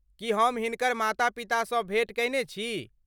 की हम हिनकर माता पितासँ भेँट कयने छी?